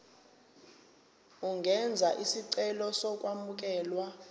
ungenza isicelo sokwamukelwa